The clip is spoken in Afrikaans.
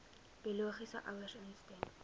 biologiese ouers instem